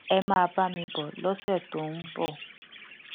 ẹ máa bá mi bọ lọsẹ tó ń bọ